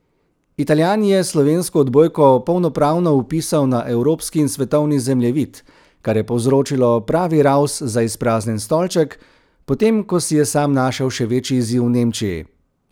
Italijan je slovensko odbojko polnopravno vpisal na evropski in svetovni zemljevid, kar je povzročilo pravi ravs za izpraznjen stolček, potem ko si je sam našel še večji izziv v Nemčiji.